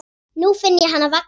Nú finn ég hana vaxa.